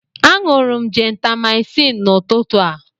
Aṅụrụ m jentamaịcịn n'ụtụtụ a.